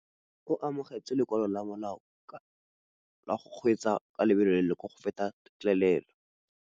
O amogetse lokwalô lwa molao ka lobaka lwa go kgweetsa ka lobelo la go feta têtlêlêlô.